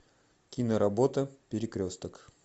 киноработа перекресток